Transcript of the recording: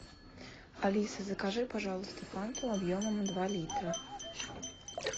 алиса закажи пожалуйста фанту объемом два литра